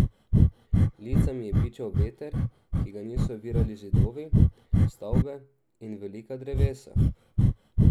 Lica mi je bičal veter, ki ga niso ovirali zidovi, stavbe in velika drevesa.